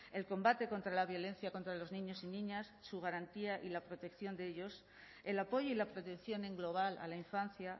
el combate contra la violencia contra los niños y niñas su garantía y la protección de ellos el apoyo y la protección en global a la infancia